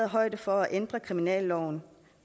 højde for at ændre kriminalloven